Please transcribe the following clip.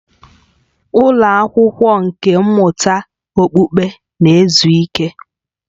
Ụlọ akwụkwọ nkà mmụta okpukpe na-ezu ike